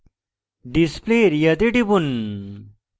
display area তে টিপুন